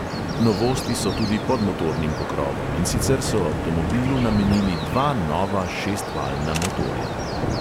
Novosti so tudi pod motornim pokrovom, in sicer so avtomobilu namenili dva nova šestvaljna motorja.